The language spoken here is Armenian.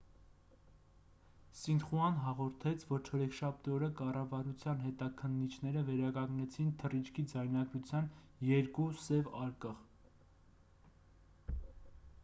սինխուան հաղորդեց որ չորեքշաբթի օրը կառավարության հետաքննիչները վերականգնեցին թռիչքի ձայնագրության երկու 'սև արկղ'